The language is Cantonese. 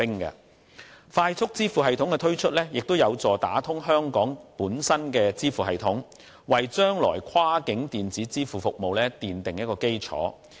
推出"快速支付系統"，有助打通香港本身的支付系統，為將來跨境電子支付服務奠下基礎。